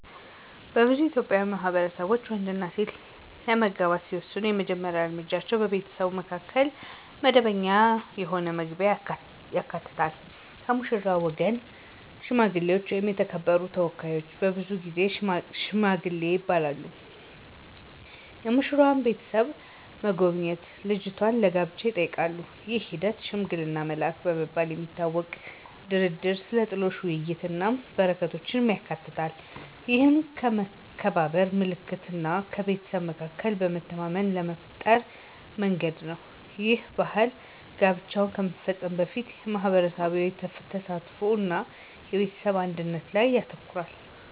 በብዙ የኢትዮጵያ ማህበረሰቦች፣ ወንድና ሴት ለመጋባት ሲወስኑ የመጀመሪያ እርምጃው በቤተሰቡ መካከል መደበኛ የሆነ መግቢያን ያካትታል። ከሙሽራው ወገን ሽማግሌዎች ወይም የተከበሩ ተወካዮች (ብዙውን ጊዜ "ሺማጊል" ይባላሉ) የሙሽራዋን ቤተሰብ መጎብኘት እጇን ለጋብቻ ይጠይቃሉ። ይህ ሂደት፣ “ሽማግሌ መላክ” በመባል የሚታወቀው፣ ድርድርን፣ ስለ ጥሎሽ ውይይቶችን እና በረከቶችን ያካትታል። ይህ የመከባበር ምልክት እና በቤተሰብ መካከል መተማመንን ለመፍጠር መንገድ ነው. ይህ ባህል ጋብቻው ከመፈጸሙ በፊት የማህበረሰብ ተሳትፎ እና የቤተሰብ አንድነት ላይ ያተኩራል።